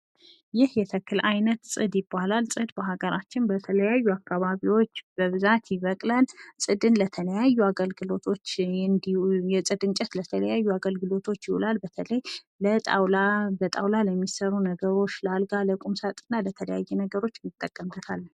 ይህ የተክል አይነት ፅድ ይባላል። ፅድ በአገራችን በተለያዩ አካባቢዎች በብዛት ይበቅላል። ፅድን ለተለያዩ አገልግሎቶች የፅድ እንጨት ለተለያዩ አገልግሎቶች ይዉላል፤ በተለይ ለጣዉላ በጣዉላ ለሚሰሩ ነገሮች ለአልጋ ለቁም ሳጥን እና ለተለያዩ ነገሮች እንጠቀምበታለን።